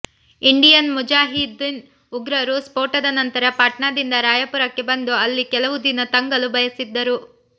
Indian Mujahideen ಉಗ್ರರು ಸ್ಪೋಟದ ನಂತರ ಪಾಟ್ನಾದಿಂದ ರಾಯಪುರಕ್ಕೆ ಬಂದು ಅಲ್ಲಿ ಕೆಲವು ದಿನ ತಂಗಲು ಬಯಸಿದ್ದರು